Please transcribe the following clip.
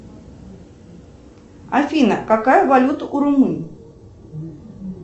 афина какая валюта у румын